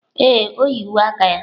Ee, o yi uwe aka ya.